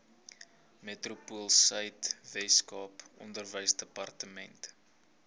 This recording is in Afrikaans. metropoolsuid weskaap onderwysdepartement